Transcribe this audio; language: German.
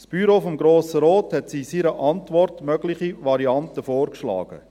Das Büro des Grossen Rates hat in seiner Antwort mögliche Varianten vorgeschlagen.